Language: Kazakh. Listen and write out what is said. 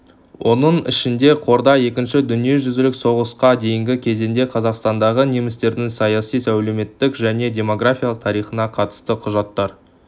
оның ішінде қорда екінші дүниежүзілік соғысқа дейінгі кезеңде қазақстандағы немістердің саяси әлеуметтік және демографиялық тарихына қатысты құжаттар